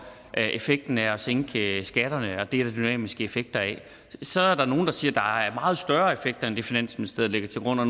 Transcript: effekten af at sænke skatterne der er dynamiske effekter af det så er der nogle der siger at der er meget større effekt end det finansministeriet lægger til grund og